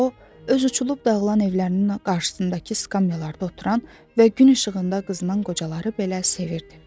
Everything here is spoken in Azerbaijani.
O öz uçulub dağılan evlərinin qarşısındakı skamyalarda oturan və gün işığında qızınan qocaları belə sevirdi.